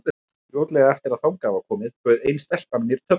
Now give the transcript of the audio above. Fljótlega eftir að þangað var komið bauð ein stelpan mér töflu.